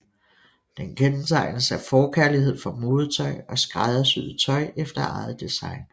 Den kendetegnes af forkærlighed for modetøj og skræddersyet tøj efter eget design